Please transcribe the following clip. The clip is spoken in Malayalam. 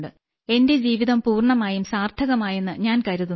എന്റെ ജീവിതം പൂർണ്ണമായും സാർത്ഥകമായെന്നു ഞാൻ കരുതുന്നു